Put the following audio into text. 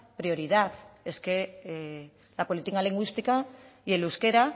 prioridad es que la política lingüística y el euskera